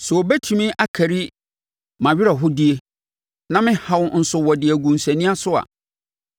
“Sɛ wɔbɛtumi akari mʼawerɛhodie na me haw nso wɔde agu nsania so a,